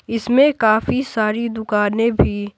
इसमें काफी सारी दुकानें भी--